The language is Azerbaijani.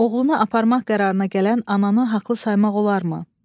Oğlunu aparmaq qərarına gələn ananı haqlı saymaq olarmı?